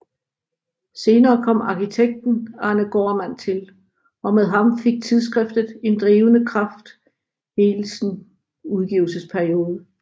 Senere kom arkitekten Arne Gaardmand til og med ham fik tidsskriftet en drivende kraft hele sin udgivelsesperiode